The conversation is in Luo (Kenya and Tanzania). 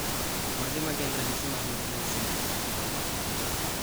Mage magin ranyisi mag Meckel syndrome kido mar ariyo